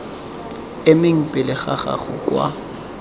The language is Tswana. emeng pele ga gago kwa